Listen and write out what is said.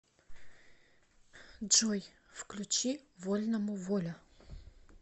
джой включи вольному воля